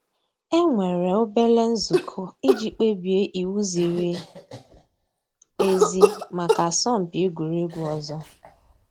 É nwèré òbèlé ǹzùkọ́ ìjì kpèbíé íwú zìrí èzí màkà àsọ̀mpị́ egwuregwu ọ̀zọ́.